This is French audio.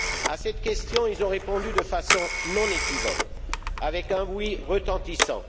À cette question, ils ont répondu de façon non équivoque, avec un oui retentissant.